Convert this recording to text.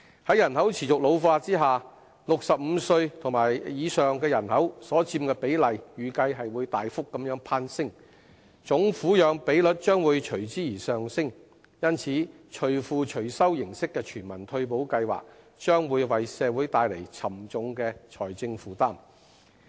在人口持續老化下 ，65 歲及以上人口的比例預計會大幅攀升，總撫養比率將會隨之而上升，因此"隨付隨收"的全民退休保障計劃，將會為社會帶來沉重的財政負擔。